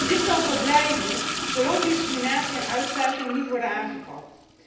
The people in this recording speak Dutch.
Dit zal zo blijven zolang discriminatie en uitsluiting niet worden aangepakt.